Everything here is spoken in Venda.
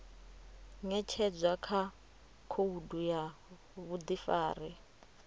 ṅetshedzwa kha khoudu ya vhuḓifari